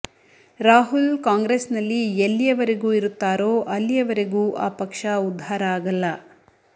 ರಾಹುಲ್ ಕಾಂಗ್ರೆಸ್ನಲ್ಲಿ ಎಲ್ಲಿಯವರೆಗೂ ಇರುತ್ತಾರೋ ಅಲ್ಲಿಯವರೆಗೂ ಆ ಪಕ್ಷ ಉದ್ಧಾರ ಆಗಲ್ಲ